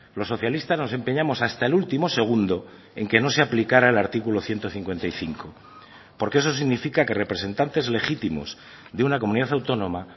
los socialistas nos empeñamos hasta el último segundo en que no se aplicara el artículo ciento cincuenta y cinco porque eso significa que representantes legítimos de una comunidad autónoma